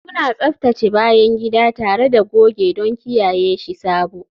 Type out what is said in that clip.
Muna tsaftace bayan gida tare da goge don kiyaye shi sabo